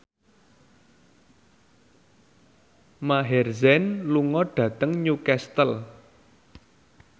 Maher Zein lunga dhateng Newcastle